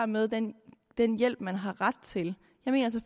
med den den hjælp man har ret til